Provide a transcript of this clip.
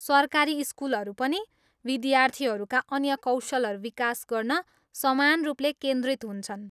सरकारी स्कुलहरू पनि विद्यार्थीहरूका अन्य कौशलहरू विकास गर्न समान रूपले केन्द्रित हुन्छन्।